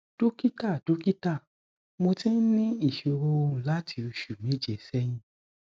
dókítà dókítà mo ti ní ìṣòro ohùn láti oṣù méje sẹyìn